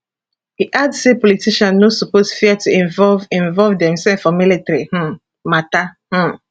e add say politicians no suppose fear to involve involve demsef for military um mata um